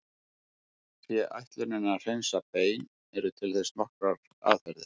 Sé ætlunin að hreinsa bein eru til þess nokkrar aðferðir.